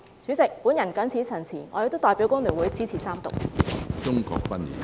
主席，我謹此陳辭，我亦代表工聯會支持三讀。